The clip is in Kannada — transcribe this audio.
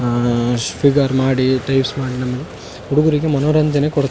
ಶುಗರ್ ಮಾಡಿ ಟೇಸ್ಟ್ ಮಾಡಿ ನಮ್ಗ್ ಹುಡುಗ್ರಿಗೆ ಮನೋರಂಜನೆ --